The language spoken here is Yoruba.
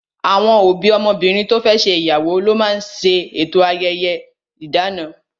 Àwọn òbí ọmọbìnrin to fẹ́ ṣe ìyàwó ló máa ń ṣe eto ayẹyẹ idana